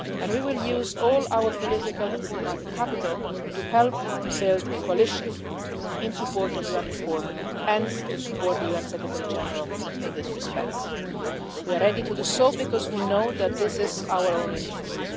And we will use all our political and diplomatic capital to help build a coalition in support of UN reform, and to support the UN Secretary General in this respect. We are ready to do so because we know that this is in our own interests.